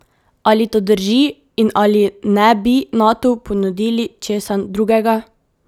Ali to drži in ali ne bi Natu ponudili česa drugega?